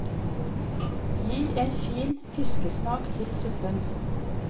Gir en fin fiskesmak til suppen.